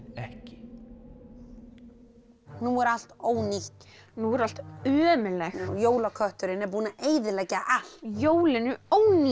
ekki nú er allt ónýtt nú er allt ömurlegt jólakötturinn er búinn að eyðileggja allt jólin eru ónýt